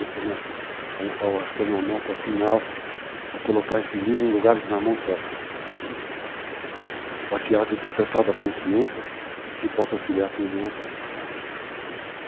Eu acho que a minha meta final é colocar esses livros em lugares na mão certas, para que haja o despertado da consciência que possa auxiliar quem vem atrás.